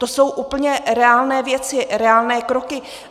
To jsou úplně reálné věci, reálné kroky.